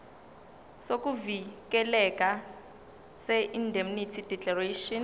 sokuvikeleka seindemnity declaration